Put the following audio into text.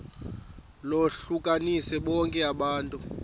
lohlukanise bonke abantu